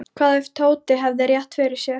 Hvað ef Tóti hefði rétt fyrir sér?